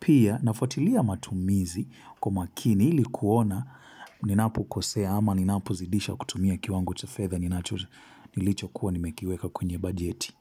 Pia nafuatilia matumizi kwa umakini ilikuona ninapo kosea ama ninapo zidisha kutumia kiwango cha fedha nilicho kuwa nimekiweka kwenye bajeti.